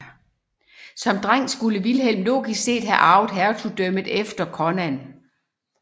Som dreng skulle Vilhelm logisk set have arvet hertugdømmet efter Conan